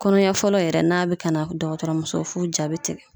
Kɔnɔ ɲɛfɔlɔ yɛrɛ n'a be ka na dɔgɔtɔrɔmuso f'u ja be tigɛ